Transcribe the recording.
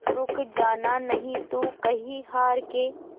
रुक जाना नहीं तू कहीं हार के